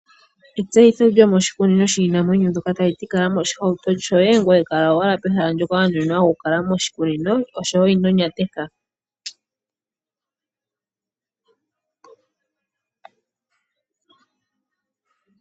Etseyitho lyo moshikunino shiinamwenyo ndoka taliti kala mo shihauto shoye, ngweye kala owala pehala ndoka wa nuninwa okukala moshikunino, sho woo ino nyateka.